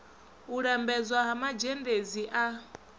u lambedzwa ha mazhendedzi a